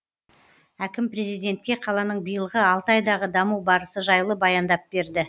әкім президентке қаланың биылғы алты айдағы даму барысы жайлы баяндап берді